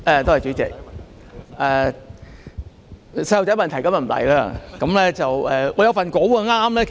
代理主席，我今天不提出"小孩子的問題"。